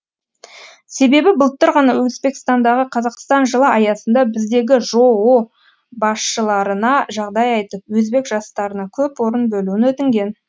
себебі былтыр ғана өзбекстандағы қазақстан жылы аясында біздегі жоо басшыларына жағдай айтып өзбек жастарына көп орын бөлуін өтінген